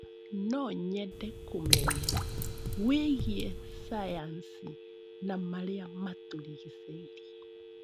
No nyende kũmenya wĩgiĩ cayanci ya marĩa matũrigicĩirie.